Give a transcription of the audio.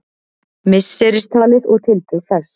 misseristalið og tildrög þess